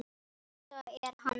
Kata er hann!